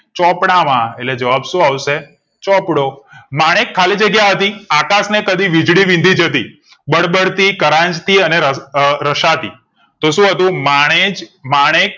ચોપડામાં એટલે જવાબ શુ આવશે ચોપડો માણેક ખાલી જગ્યા હતી આકાશ ને કદી વીજળી વીંધી જતી બળબળતી કરાંજતી અને રઘ રશાતી તો શું હતું માણેજ માણેક